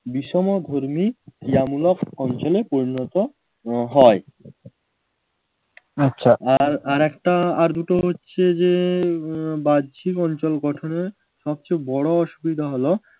বিষমধর্মী ক্রিয়ামূলক অঞ্চলে পরিণত হয় আর আরেকটা আর দুটো হচ্ছে যে উহ বাহ্যিক অঞ্চল গঠনের সবচেয়ে বড় অসুবিধা হলো